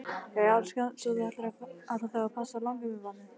Jæja elskan, svo að þú ætlar þá að passa langömmubarnið?